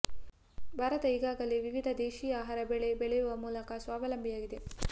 ಭಾರತ ಈಗಾಗಲೇ ವಿವಿಧ ದೇಶಿ ಆಹಾರ ಬೆಳೆ ಬೆಳೆಯುವ ಮೂಲಕ ಸ್ವಾವಲಂಬಿಯಾಗಿದೆ